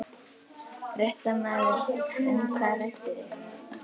Fréttamaður: Og um hvað rædduð þið?